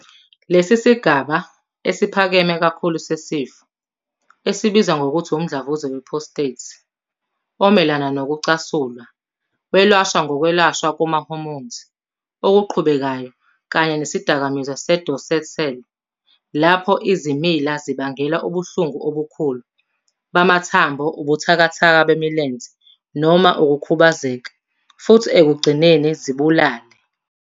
Lesi sigaba esiphakeme kakhulu sesifo, esibizwa ngokuthi umdlavuza we-prostate omelana nokucasulwa, welashwa ngokwelashwa kwama-hormone okuqhubekayo kanye nesidakamizwa se-docetxel. Lapho, izimila zibangela ubuhlungu obukhulu bamathambo, ubuthakathaka bemilenze noma ukukhubazeka, futhi ekugcineni zibulale.